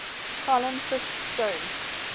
harlan fiske stone